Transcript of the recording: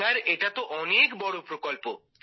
sir এটা তো অনেক বড় প্রকল্প